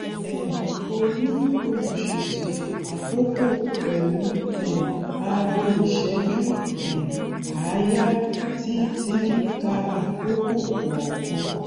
um óní olùṣètò àkókò pẹlú um aago ìṣẹjú um àáyá tí tí ń ka àkókò kọọkan